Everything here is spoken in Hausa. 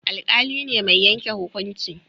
Alƙali ne mai yanke hukunci